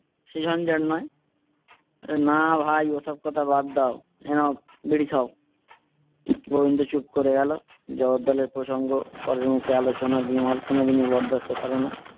সে ঝঞ্ঝাট নয়? আরে না ভাই ওসব কথা বাদ দাও এ নাও বিড়ি খাও। গোবিন্দ চুপ করে গেলো জগদ্দলের প্রসংঙ্গ পরের মুখে আলোচনা বিমল কোনো দিনই বরদাস্ত করে না।